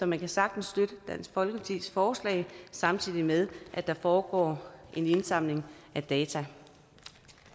man kan sagtens støtte dansk folkepartis forslag samtidig med at der foregår en indsamling af data